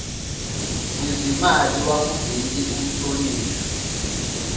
wezimali wakuleli umhlonishwa